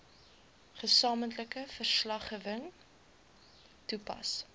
gesamentlike verslaggewing toepas